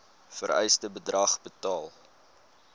vereiste bedrag betaal